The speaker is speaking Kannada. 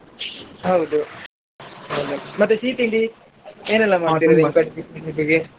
ಹೌದು ಮತ್ತೆ ಸಿಹಿ ತಿಂಡಿ ಏನೆಲ್ಲಾ ತಿನಿಸಿಗೆ.